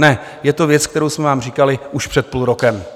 Ne, je to věc, kterou jsme vám říkali už před půl rokem.